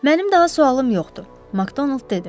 Mənim daha sualım yoxdur, McDonald dedi.